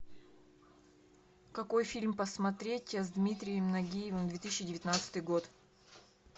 какой фильм посмотреть с дмитрием нагиевым две тысячи девятнадцатый год